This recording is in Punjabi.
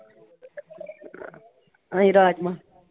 ਅਸੀ ਰਾਜਮਾਂਹ।